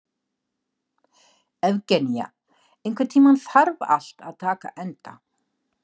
Evgenía, einhvern tímann þarf allt að taka enda.